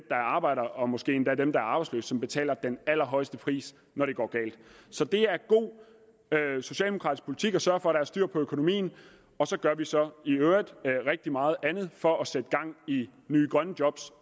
arbejder og måske endda dem der er arbejdsløse som betaler den allerhøjeste pris når det går galt så det er god socialdemokratisk politik at sørge for at der er styr på økonomien og så gør vi så i øvrigt rigtig meget andet for at sætte gang i nye grønne job